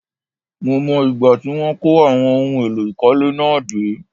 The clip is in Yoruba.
Mo mọ̀ ìgbà tí wọ́n kó àwọn ohun èlò ìkọ́lé náà dé